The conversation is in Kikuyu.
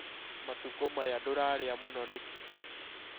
Matukũ maya ndũrarĩa mũno nĩkĩ?